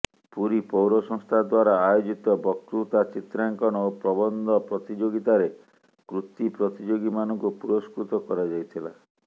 ପୁରୀ ପୌର ସଂସ୍ଥା ଦ୍ବାରା ଆୟୋଜିତ ବକୃତା ଚିତ୍ରାଙ୍କନ ଓ ପ୍ରବନ୍ଧ ପ୍ରତିଯୋଗିତାରେ କୃତି ପ୍ରତିଯୋଗୀମାନଙ୍କୁ ପୁରସ୍କୃତ କରାଯାଇଥିଲା